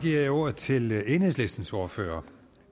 giver jeg ordet til enhedslistens ordfører